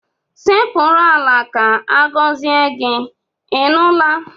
Sekpuru ala ka agọzie gị, ị nụla?